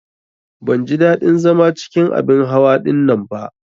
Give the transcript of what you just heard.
Ban ji ɗadin zama cikin abin hawa ɗinnan ba.